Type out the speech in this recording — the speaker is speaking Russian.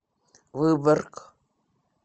выборг